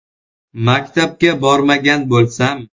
Maktabga bormagan bo‘lsam.